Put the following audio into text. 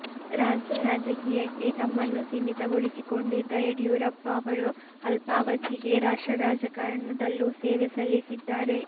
ರಾಜ್ಯ ರಾಜಕೀಯಕ್ಕೆ ತಮ್ಮನ್ನು ಸೀಮಿತಗೊಳಿಸಿಕೊಂಡಿದ್ದ ಯಡಿಯೂರಪ್ಪ ಅವರು ಅಲ್ಪಾವಧಿಗೆ ರಾಷ್ಟ್ರ ರಾಜಕಾರಣದಲ್ಲೂ ಸೇವೆ ಸಲ್ಲಿಸಿದ್ದಾರೆ